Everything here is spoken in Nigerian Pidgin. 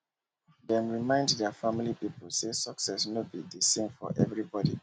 dem remindt their family people say success no be the same for everybody